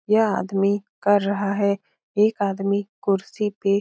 यह आदमी कर रहा है एक आदमी कुर्सी पे --